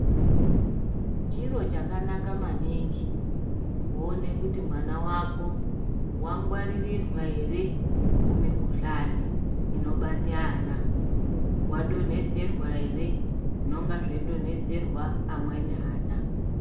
Chiro chakanaka maningi kuona kuti mwana vako vangwaririrwa ere kumikuhlani inobate ana. Vadonhedzerwa ere zvinonga zveidonhedzerwa amweni ana.